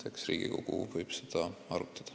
Eks Riigikogu võib seda arutada.